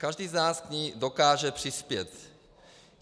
Každý z nás k ní dokáže přispět.